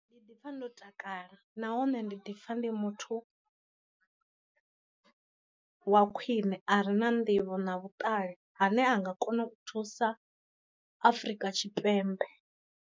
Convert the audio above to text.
Ndi ḓi pfa ndo takala nahone ndi ḓipfa ndi muthu wa khwiṋe a re na nḓivho na vhuṱali ane a nga kona u thusa afrika tshipembe.